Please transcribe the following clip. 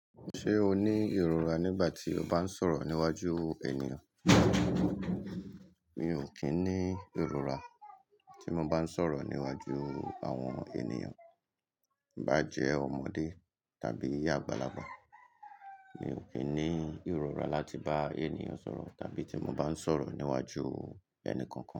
Ṣé o ní ìrora nígbà tí o bá ń sọ̀rọ̀ níwájú ènìyàn? Mi ò kín ní ìrora tí mo bá ń sọ̀rọ̀ níwájú àwọn ènìyàn, i bá jẹ́ ọmọdé tàbí àgbàlagbà. Mi ò kín ní ìrora láti bá ènìyàn sọ̀rọ̀ tàbí tí mo bá ń sọ̀rọ̀ níwájú ẹnì kankan.